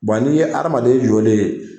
n'i ye adamaden yɔlen ye